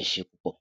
Ẹ ṣé púpọ̀!